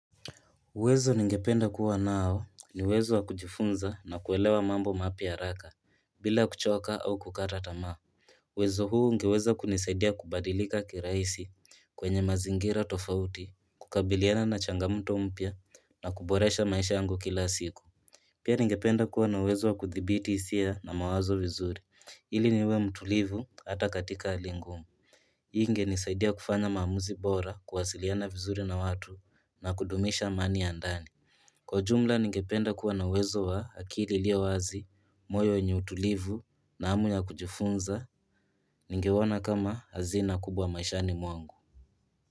Uwezo ningependa kuwa nao ni uwezo wa kujifunza na kuelewa mambo mapya haraka bila kuchoka au kukata tamaa. Uwezo huu ungeweza kunisaidia kubadilika kirahisi kwenye mazingira tofauti, kukabiliana na changamoto mpya na kuboresha maisha yangu kila siku. Pia ningependa kuwa na uwezo wa kuthibiti hisia na mawazo vizuri, ili niwe mtulivu hata katika hali ngumu. Hii ingenisaidia kufanya maamuzi bora kuwasiliana vizuri na watu na kudumisha amani ya ndani. Kwa ujumla ningependa kuwa na uwezo wa akili iliyo wazi, moyo yenye utulivu na hamu ya kujifunza ningeona kama hazina kubwa maishani mwangu.